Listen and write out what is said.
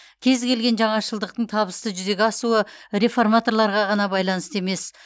кез келген жаңашылдықтың табысты жүзеге асуы реформаторларға ғана байланысты емес